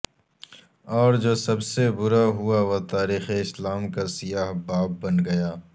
اور جو سب سے برا ہوا وہ تاریخ اسلام کا سیاہ باب بن گیا